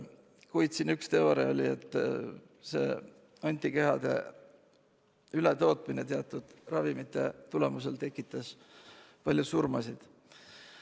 Kuid üks teooria oli selline, et hoopis antikehade ületootmine teatud ravimite toimel põhjustas palju surmasid.